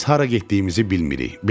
Biz hara getdiyimizi bilmirik.